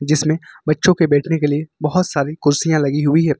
जिसमें बच्चों के बैठने के लिए बहोत सारी कुर्सियां लगी हुई हैं।